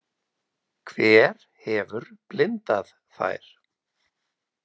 Hver hefur blindað þær?